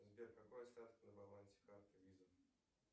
сбер какой остаток на балансе карты виза